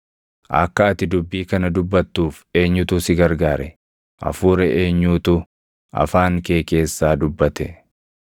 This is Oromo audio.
Akka ati dubbii kana dubbattuuf eenyutu si gargaare? Hafuura eenyuutu afaan kee keessaa dubbate?